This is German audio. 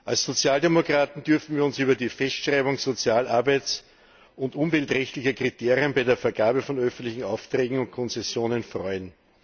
Als Sozialdemokraten dürfen wir uns über die Festschreibung sozial arbeits und umweltrechtlicher Kriterien bei der Vergabe von öffentlichen Aufträgen und Konzessionen freuen.